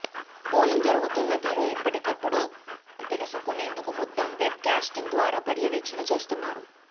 polling జరుగుతున్న తీరు ఎప్పటికప్పుడు తెలుసుకునేందుకు మొత్తం వెబ్ క్యాస్టింగ్ ద్వారా పర్యవేక్షణ చేస్తున్నారు